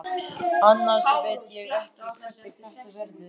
Annars veit ég ekki hvernig þetta verður.